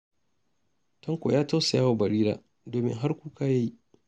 Tanko ya tausaya wa Barira, domin har kuka ya yi.